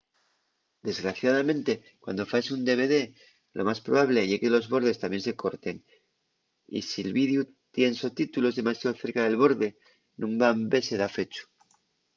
desgraciadamente cuando faes un dvd lo más probable ye que los bordes tamién se corten y si’l videu tien sotítulos demasiao cerca del borde nun van vese dafechu